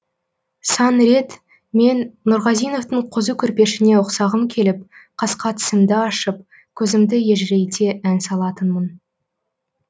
сан рет мен нұрғазиновтың қозы көрпешіне ұқсағым келіп қасқа тісімді ашып көзімді ежірейте ән салатынмын